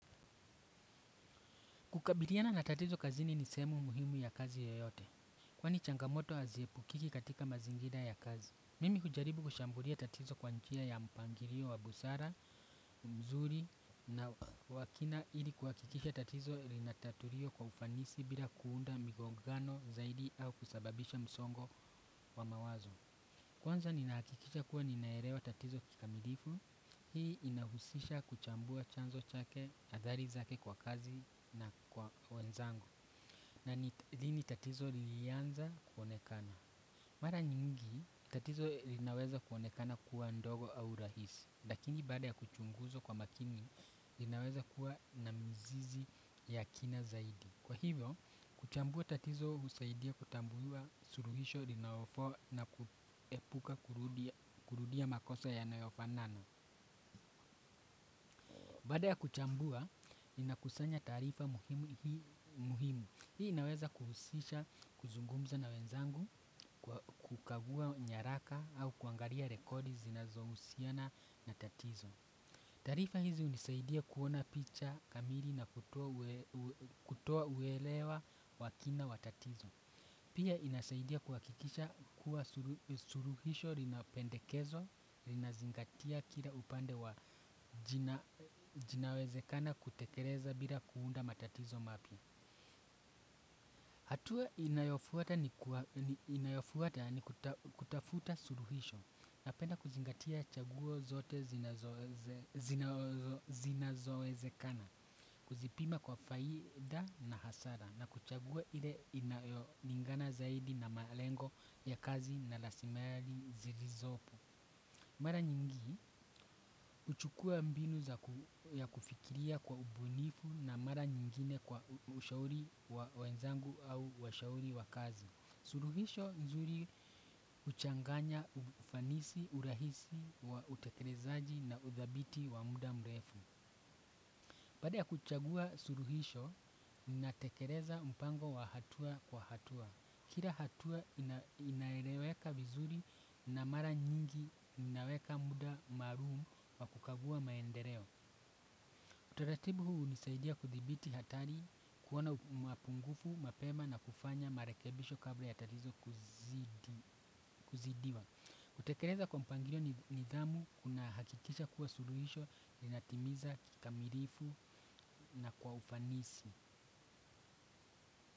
Kukabiliana na tatizo kazini ni sehemu muhimu ya kazi yoyote. Kwani changamoto aziepukiki katika mazingira ya kazi. Mimi hujaribu kushambulia tatizo kwa njia ya mpangirio wa busara, mzuri na wakina ili kuakikisha tatizo linatatulio kwa ufanisi bila kuunda migogano zaidi au kusababisha msongo wa mawazo. Kwanza ninaakikisha kuwa ninaerewa tatizo kikamilifu, hii inahusisha kuchambua chanzo chake adhali zake kwa kazi na kwa wenzangu. Na lini tatizo lilianza kuonekana. Mara nyingi, tatizo linaweza kuonekana kuwa ndogo au rahisi. Lakini baada ya kuchunguzwa kwa makini, linaweza kuwa na mizizi ya kina zaidi. Kwa hivyo, kuchambua tatizo usaidia kutambuliwa suruhisho linawafo na kuepuka kurudia makosa yanayofanana. Baada ya kuchambua, linakusanya taarifa muhimu hii muhimu. Hii inaweza kuhusisha kuzungumza na wenzangu, kukagua nyaraka au kuangaria rekodi zinazohusiana na tatizo. Tarifa hizi unisaidia kuona picha kamiri na kutua uelewa wakina wa tatizo. Pia inasaidia kuakikisha kuwa suruhisho rinapendekezo, rinazingatia kila upande wa jinawezekana kutekereza bila kuunda matatizo mapya. Hatua inayofuata ni kutafuta suruhisho napenda kuzingatia chaguo zote zinazowezekana. Kuzipima kwa faida na hasara na kuchaguwa ile inayolingana zaidi na malengo ya kazi na lasimari zilizopo. Mara nyingi, uchukua mbinu ya kufikiria kwa ubunifu na mara nyingine kwa ushauri wa wenzangu au washauri wa kazi. Suruhisho nzuri uchanganya ufanisi, urahisi, utekerezaji na uthabiti wa muda mrefu. Pada ya kuchagua suruhisho, ninatekereza mpango wa hatua kwa hatua. Kira hatua inaereweka vizuri na mara nyingi inaweka muda maruum wa kukagua maendereo. Utaratibu huu hunisaidia kuthibiti hatari kuona mapungufu, mapema na kufanya marekebisho kabla ya tatizo kuzidiwa. Kutekereza kwa mpangirio ni nidhamu kuna hakikisha kuwa suluhisho linatimiza kikamirifu na kwa ufanisi.